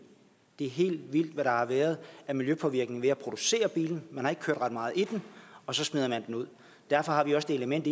det er helt vildt hvad der har været af miljøpåvirkning ved at producere bilen man har ikke kørt ret meget i den og så smider man den ud derfor har vi også det element